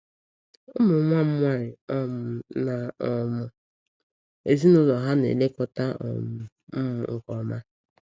Ụmụ nwa m nwanyị um na um ezinụlọ ha na-elekọta um m nke ọma.